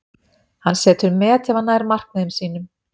Hann setur met ef hann nær markmiðum sínum.